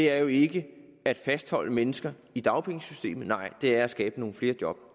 er jo ikke at fastholde mennesker i dagpengesystemet nej det er at skabe nogle flere job